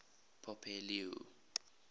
pope leo